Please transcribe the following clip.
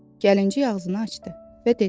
Gəlinciy ağzını açdı və dedi: